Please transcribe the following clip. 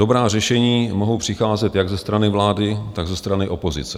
Dobrá řešení mohou přicházet jak ze strany vlády, tak ze strany opozice.